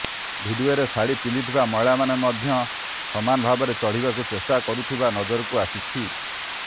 ଭିଡିଓରେ ଶାଢ଼ି ପିନ୍ଧିଥିବା ମହିଳାମାନେ ମଧ୍ୟ ସମାନ ଭାବରେ ଚଢ଼ିବାକୁ ଚେଷ୍ଟା କରୁଥିବା ନଜରକୁ ଆସିଛି